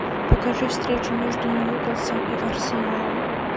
покажи встречу между ньюкаслом и арсеналом